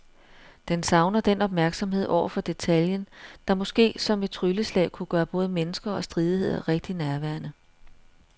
Den savner den opmærksomhed over for detaljen, der måske som et trylleslag kunne gøre både mennesker og stridigheder rigtig nærværende.